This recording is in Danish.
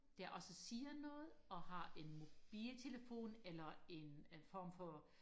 der også siger noget og har en mobiltelefon eller en form for